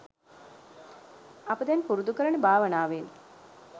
අප දැන් පුරුදු කරන භාවනාවෙන්